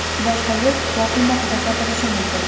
boshqa yil tuproq qiymatida sotilishi mumkin.